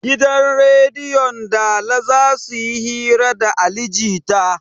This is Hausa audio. Gidan rediyon dala zasuyi hira da ali jita